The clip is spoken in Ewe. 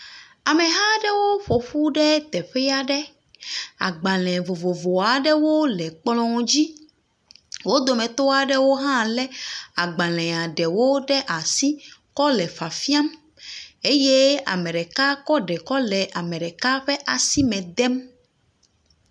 Ameha aɖewo ƒo ƒu ɖe teƒe aɖe. Agbalẽ vovovowo aɖewo le kplɔ̃a dzi. Wo dometɔ aɖewo hã le agbalẽ ɖewo ɖe asi kɔ le fiafiam eye ame ɖeka kɔ le ame ɖeka ƒe asime dem.